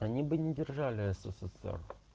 они бы не держали ссср